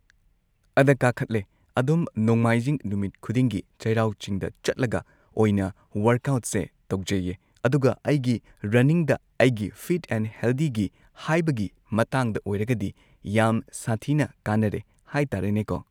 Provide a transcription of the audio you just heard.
ꯑꯗ ꯀꯥꯈꯠꯂꯦ ꯑꯗꯨꯝ ꯅꯣꯡꯃꯥꯏꯖꯤꯡ ꯅꯨꯃꯤꯠ ꯈꯨꯗꯤꯡꯒꯤ ꯆꯩꯔꯥꯎ ꯆꯤꯡꯗ ꯆꯠꯂꯒ ꯑꯣꯏꯅ ꯋꯔꯛꯑꯥꯎꯠꯁꯦ ꯇꯧꯖꯩꯌꯦ ꯑꯗꯨꯒ ꯑꯩꯒꯤ ꯔꯅꯤꯡꯗ ꯑꯩꯒꯤ ꯐꯤꯠ ꯑꯦꯟ ꯍꯦꯜꯗꯤꯒꯤ ꯍꯥꯏꯕꯒꯤ ꯃꯇꯥꯡꯗ ꯑꯣꯏꯔꯒꯗꯤ ꯌꯥꯝ ꯁꯥꯊꯤꯅ ꯀꯥꯟꯅꯔꯦ ꯍꯥꯏꯇꯥꯔꯦꯅꯦꯀꯣ꯫